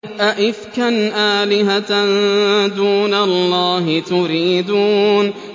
أَئِفْكًا آلِهَةً دُونَ اللَّهِ تُرِيدُونَ